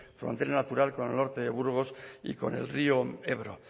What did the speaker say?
frontera natural con el norte de burgos y con el río ebro